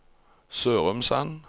Sørumsand